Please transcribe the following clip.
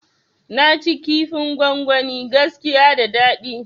Naci kifin gwangwani gaskiya da dadi